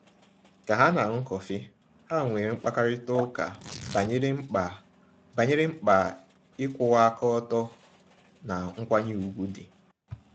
Ka ha na-aṅụ kọfị, ha nwere mkparịtaụka banyere mkpa banyere mkpa ịkwụwa aka ọtọ na nkwanye ùgwù dị.